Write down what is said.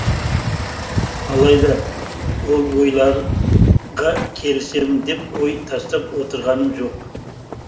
алайда ол ойларға келісемін деп ой тастап отырғаным жоқ